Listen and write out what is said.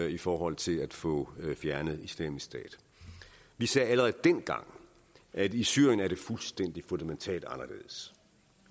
i forhold til at få fjernet islamisk stat vi sagde allerede dengang at i syrien er det fuldstændig fundamentalt anderledes